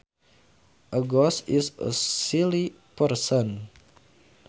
A goose is a silly person